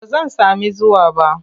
Ba zan sami zuwa ba.